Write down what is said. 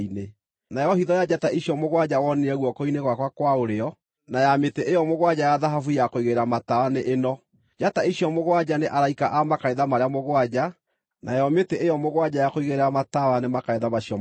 Nayo hitho ya njata icio mũgwanja wonire guoko-inĩ gwakwa kwa ũrĩo, na ya mĩtĩ ĩyo mũgwanja ya thahabu ya kũigĩrĩra matawa nĩ ĩno: Njata icio mũgwanja nĩ araika a makanitha marĩa mũgwanja, nayo mĩtĩ ĩyo mũgwanja ya kũigĩrĩra matawa nĩ makanitha macio mũgwanja.